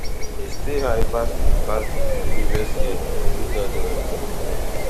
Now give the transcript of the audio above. e still high pass pass di previous year two thousand and twenty-three